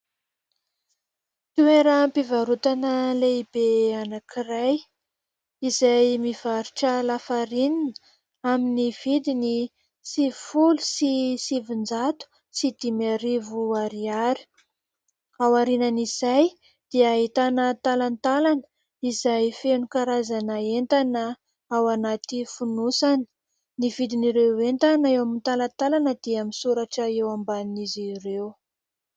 Toeram-pivarotana lehibe anankiray izay mivarotra lafarinana amin'ny vidiny sivifolo sy sivinjato sy dimy arivo ariary, aorianan' izay dia ahitana talantalana izay feno karazana entana ao anaty fonosana ny vidin'ireo entana eo amin'ny talantalana dia misoratra eo ambanin'izy ireo.